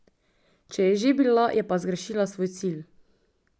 Če je že bila, je pa zgrešila svoj cilj.